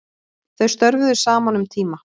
Þau störfuðu saman um tíma